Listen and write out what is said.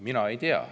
Mina ei tea.